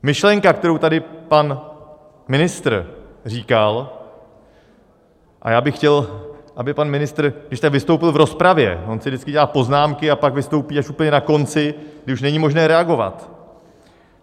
Myšlenka, kterou tady pan ministr říkal, a já bych chtěl, aby pan ministr když tak vystoupil v rozpravě - on si vždycky dělá poznámky a pak vystoupí až úplně na konci, kdy už není možné reagovat.